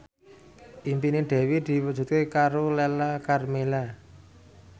impine Dewi diwujudke karo Lala Karmela